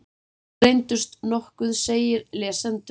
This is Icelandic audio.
Allir reyndust nokkuð seigir lesendur.